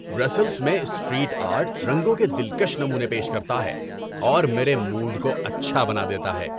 ‏Brussels میں street art رنگوں کے دلکش نمونے پیش کرتا ہے اور میرے موڈ کو اچھا بنا دیتا ہے۔